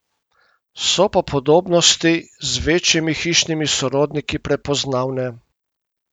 So pa podobnosti z večjimi hišnimi sorodniki prepoznavne.